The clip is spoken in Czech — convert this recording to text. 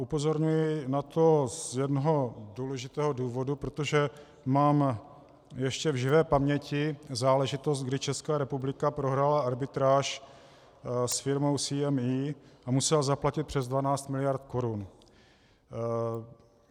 Upozorňuji na to z jednoho důležitého důvodu, protože mám ještě v živé paměti záležitost, kdy Česká republika prohrála arbitráž s firmou CME a musela zaplatit přes 12 mld. korun.